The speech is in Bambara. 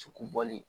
Cugu bɔli